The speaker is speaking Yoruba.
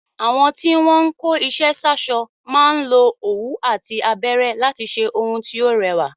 Àwọn tí wọ́n ń kó iṣẹ́ sáṣọ máa lo òwú àti abẹ́rẹ́ láti ṣe ohun tí ó rẹwà.